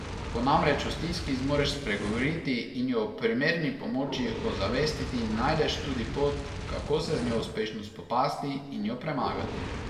Ko namreč o stiski zmoreš spregovoriti in jo ob primerni pomoči ozavestiti, najdeš tudi pot, kako se z njo uspešno spopasti in jo premagati.